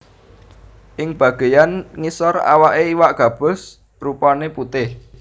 Ing bagéyan ngisor awaké iwak gabus rupané putih